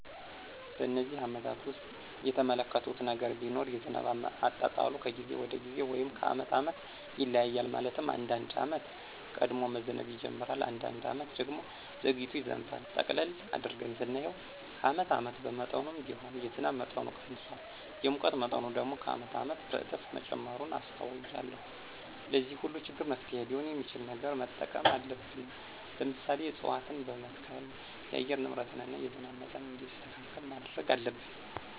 በነዚህ አመታት ውስጥ የተመለከትሁት ነገር ቢኖር የዝናብ አጣጣሉ ከጊዜ ወደ ጊዜ ወይም ከአመት አመት ይለያያል። ማለትም አንዳንድ አመት ቀድሞ መዝነብ ይጅምራል። አንዳንድ አመት ደግሞ ዘግይቶ ይዘንባል። ጠቅለል አድርገን ስናየው ከአመት አመት በመጠኑም ቢሆን የዝናብ መጠኑ ቀንሷል። የሙቀት መጠኑ ደግሞ ከአመት አመት በእጥፍ መጨመሩን አስተውያለሁ። ለዚህ ሁሉ ችግር መፍትሔ ሊሆን የሚችል ነገር መጠቀም አለብን። ለምሳሌ፦ እፅዋትን በመትከል የአየር ንብረትን እና የዝናብ መጠን እንዲስተካከል ማድረግ አለብን።